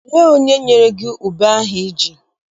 Olee onye nyere gị ube ahụ I ji?